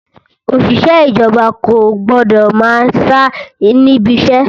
Òṣìṣẹ́ ìjọba kò gbọ́dọ̀ máa sá níbi iṣẹ́!